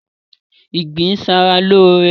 Ìgbín ń ṣa ra lóóre